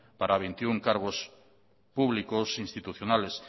para veintiuno cargos públicos institucionales